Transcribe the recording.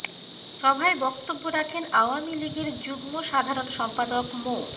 সভায় বক্তব্য রাখেন আওয়ামী লীগের যুগ্ম সাধারণ সম্পাদক মো